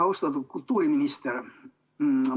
Austatud kultuuriminister!